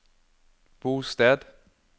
bosted